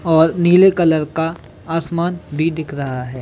और नीले कलर का आसमान भी दिख रहा है।